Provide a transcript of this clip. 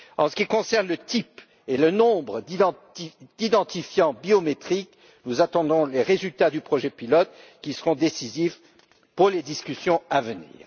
En ce qui concerne le type et le nombre d'identifiants biométriques, nous attendons les résultats du projet pilote, qui seront décisifs pour les discussions à venir.